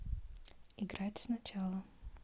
играть сначала